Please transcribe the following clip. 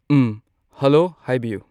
ꯎꯝ hello ꯍꯥꯏꯕꯤꯌꯣ